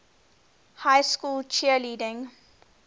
high school cheerleading